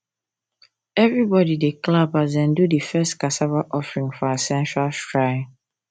everybody dey clap as dem do the first cassava offering for ancestral shrine